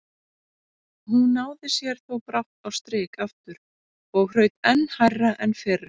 Hún náði sér þó brátt á strik aftur og hraut enn hærra en fyrr.